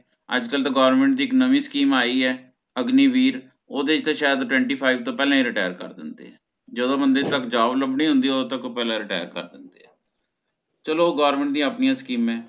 ਅੱਜ ਕਲ ਤਾ Government ਦੀ ਇਕ ਨਵੀ Scheme ਆਈ ਆ ਅਗਨੀ ਵੀਰ ਓਹਦੇ ਚ ਤਹ ਸ਼ਾਇਦ twenty five ਤੋਂ ਪਹਿਲਾ ਹੀ Retire ਕਰ ਦਿੰਦੇ ਹਨ ਜਦੋਂ ਬੰਦੇ ਤੱਕ Job ਲੱਭਣੀ ਹੋਂਦੀ ਹੈ ਓਹਦੋਂ ਤੋਂ ਪਹਿਲਾ Retire ਕਰ ਦਿੰਦੇ ਆ ਚਲੋ Government ਦੀਆ ਆਪਣੀਆਂ ਸਕੀਮਾਂ ਨੇ